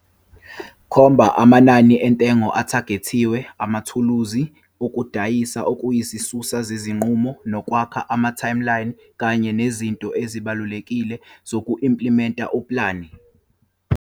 Khomba amanani entengo athagethiwe, amathuluzi okudayisa, okuyisisusa sezinqumo, nokwakha ama-timeline kanye nezinto ezibalulekile zoku-implimenta upulane.